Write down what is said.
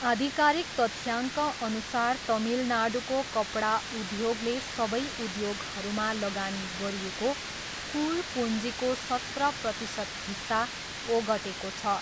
आधिकारिक तथ्याङ्कअनुसार तमिलनाडुको कपडा उद्योगले सबै उद्योगहरूमा लगानी गरिएको कुल पुँजीको सत्र प्रतिशत हिस्सा ओगटेको छ।